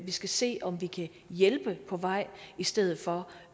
vi skal se om vi kan hjælpe på vej i stedet for